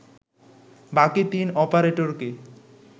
বাকি তিন অপারেটরকে